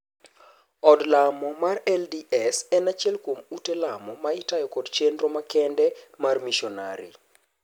Od Lamo mar LDS en achiel kuom ute lemo ma itayo kod chendro makende mar mishonari.